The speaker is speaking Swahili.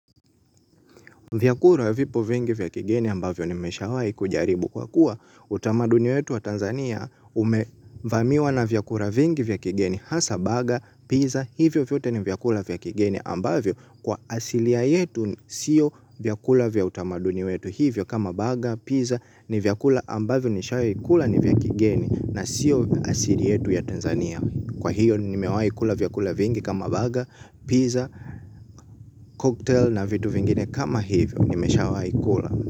Vyakula vipo vingi vya kigeni ambavyo nimeshawahi kujaribu kwa kuwa utamaduni wetu wa Tanzania umevamiwa na vyakula vingi vya kigeni hasa baga, pizza, hivyo vyote ni vyakula vya kigeni ambavyo kwa asilia yetu siyo vyakula vya utamadi wetu hivyo kama baga, pizza ni vyakula ambavyo nishai kula ni vya kigeni na siyo asili yetu ya Tanzania. Kwa hiyo nimewahi kula vyakula vingi kama burger, pizza, cocktail na vitu vingine kama hivyo. Nimeshawahi kula.